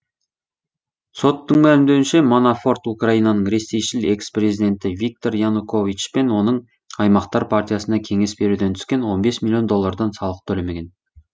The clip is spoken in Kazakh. соттың мәлімдеуінше манафорт украинаның ресейшіл экс президенті виктор янукович пен оның аймақтар партиясына кеңес беруден түскен он бес миллион доллардан салық төлемеген